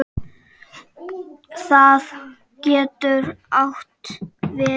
Það getur átt við